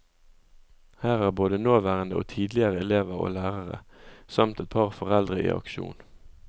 Her er både nåværende og tidligere elever og lærere, samt et par foreldre i aksjon.